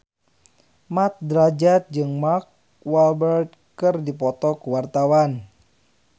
Mat Drajat jeung Mark Walberg keur dipoto ku wartawan